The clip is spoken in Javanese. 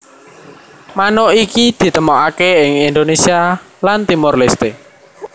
Manuk iki ditemokake ing Indonesia lan Timor Leste